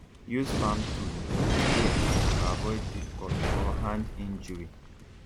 use farm tool with care to avoid deep cut or hand injury